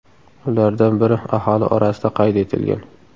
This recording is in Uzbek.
Ulardan biri aholi orasida qayd etilgan.